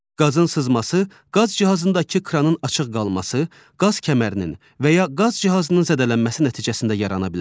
Qazın sızması, qaz cihazındakı kranın açıq qalması, qaz kəmərinin və ya qaz cihazının zədələnməsi nəticəsində yarana bilər.